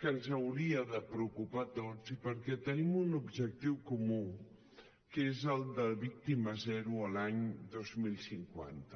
que ens hauria de preocupar a tots i perquè tenim un objectiu comú que és el de víctimes zero l’any dos mil cinquanta